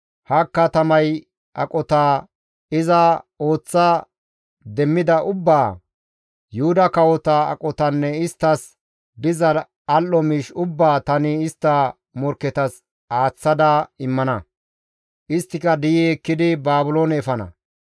Ha katamay aqota, iza ooththa demmida ubbaa, Yuhuda kawota aqotanne isttas diza al7o miish ubbaa tani istta morkketas aaththa immana; isttika di7i ekkidi Baabiloone efana.